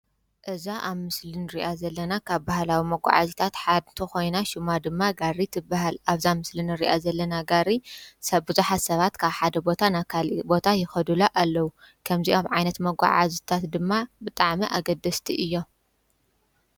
እዛ ኣብ ምስልን ርኣ ዘለና ካብ ባህላዊ መጕዓ ሲታት ሓድቶ ኾይና ሹማ ድማ ጋሪ ትበሃል ኣብዛ ምስልን ርያ ዘለና ጋሪ ሰብ ብዙሓሰባት ካብ ሓደ ቦታ ናካል ቦታ የኸዱሎ ኣለዉ ከምዚይኣም ዓይነት መጕዓ ዙታት ድማ ብጣዕመ ኣገደስቲ እዮም